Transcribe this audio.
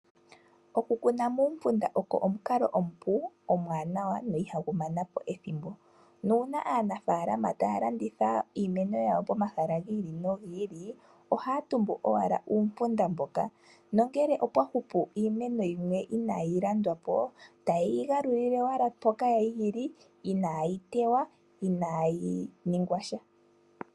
Oku kuna muumpunda oko omukalo omupu , omuwanawa go ihagu mana po ethimbo. Uuna aanafaalama taya landitha iimeno yawo komahala gi ili nogi ili ohaya tumbu owala uumpunda mboka, nongele opwa hupu iimeno yimwe inaayi landwa po , otaye yi galulile owala mpoka ya li inaayi tewa.